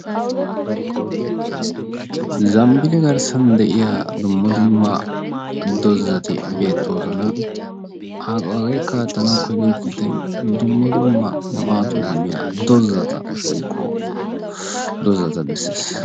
Zambbille garssan de'iya dumma dumma doozzati beettooson. Hageekka attanawu koyiyo kiittay dumma dumma maadduwa immiya dozzata woykko dozzata bessees.